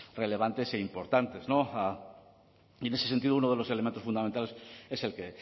relevantes e importantes y en ese sentido uno de los elementos fundamentales es el que